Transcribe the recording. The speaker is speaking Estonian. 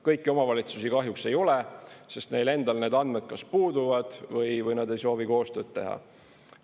Kõiki omavalitsusi kahjuks ei ole, sest neil endal need andmed kas puuduvad või nad ei soovi koostööd teha.